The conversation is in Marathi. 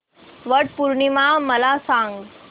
वट पौर्णिमा मला सांग